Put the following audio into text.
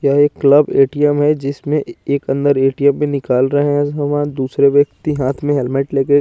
यहाँ एक club ATM जिसमे एक अन्दर ए_टी_एम भी निकाल रहे है उसमे दुसरे व्यक्ति हाथ में हेलमेट ले कर --